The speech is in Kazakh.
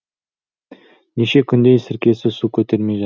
неше күндей сіркесі су көтермей